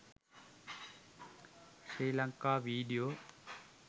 sri lanka video